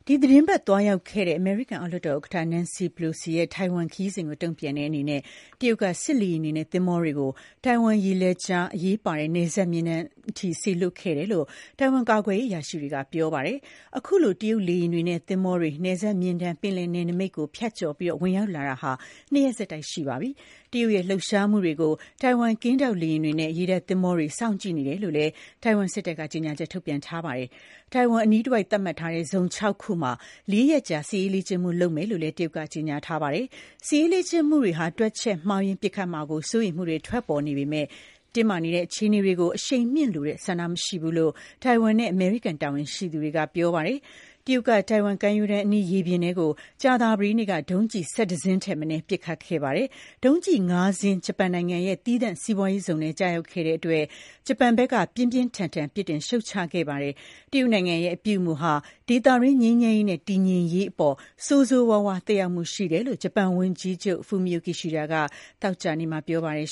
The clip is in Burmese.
ီတင်းပတ်သွားရောက်ခဲ့တဲ့ အမေရိကန် အောက်လွှတ်တော်ဥက္ကဋ္ဌ Nancy Pelosi ရဲ့ ထိုင်ဝမ်ခရီးစဉ်ကို တုံ့ပြန်တဲ့အနေနဲ့ တရုတ်က စစ်လေယာဉ်တွေနဲ့ သင်္ဘောတွေကို ထိုင်ဝမ်ရေလက်ကြား အရေးပါတဲ့ အလယ်မျဉ်းတန်းအထိ စေလွှတ်ခဲ့တယ်လို့ ထိုင်ဝမ်ကာကွယ်ရေးအရာရှိတွေက ပြောပါတယ်။ အခုလို တရုတ်လေယာဉ်တွေနဲ့ သင်္ဘောတွေ အလယ်မျဉ်းတန်း ပင်လယ်နယ်နမိတ် ကို ဖြတ်ကျော်ဝင်ရောက်လာတာ ၂ ရက်ဆက်တိုက်ရှိပါပြီ။ တရုတ်ရဲ့ လှုပ်ရှားမှုတွေကို ထိုင်ဝမ် ကင်းထောက်လေယာဉ်တွေနဲ့ ရေတပ်သင်္ဘောတွေက စောင့်ကြည့်နေတယ်လို့လည်း ထိုင်ဝမ်စစ်တပ်က ကြေညာချက်ထုတ်ပြန်ထားပါတယ်။ ထိုင်ဝမ်အနီးတဝိုက် သတ်မှတ်ထားတဲ့ ဇုံ ၆ ခုမှာ လေးရက်ကြာ စစ်ရေးလေ့ကျင့်မှုလုပ်မယ်လို့လည်း တရုတ်က ကြေညာထားပါတယ်။ စစ်ရေးလေ့ကျင့်မှုတွေက တွက်ချက်မှုမှားယွင်းပစ်ခတ်မှာကို စိုးရိမ်မှုတွေ ထွက်ပေါ်နေပေမဲ့ တင်းမာနေတဲ့ အခြေအနေတွေကို အရှိန်မြှင့်လိုတဲ့ ဆန္ဒမရှိဘူးလို့ ထိုင်ဝမ်နဲ့ အမေရိကန် တာဝန်ရှိသူတွေက ပြောပါတယ်။ တရုတ်က ထိုင်ဝမ်ကမ်းရိုးတန်းအနီး ရေပြင်ထဲကို ကြာသပတေးနေ့က ဒုံးကျည် ၁၁ စင်းထက်မနည်းပစ်ခတ်ခဲ့တာပါ။ ဒုံးကျည် ၅ စင်း ဂျပန်နိုင်ငံရဲ့သီးသန့်စီးပွားရေးဇုန် ထဲကို ကျရောက်ခဲ့တဲ့အတွက် ဂျပန်နိုင်ငံက ပြင်းပြင်းထန်ထန် ပြစ်တင်ရှုတ်ချခဲ့ပါတယ်။ တရုတ်နိုင်ငံရဲ့ အပြုအမူဟာ ဒေသတွင်း ငြိမ်းချမ်းရေးနဲ့ တည်ငြိမ်ရေးအပေါ် ဆိုးဆိုးရွားရွား သက်ရောက်မှုရှိတယ်လို့လည်း ဂျပန်ဝန်ကြီးချုပ် Fumio Kishida က သောကြာနေ့မှာ ပြောပါတယ်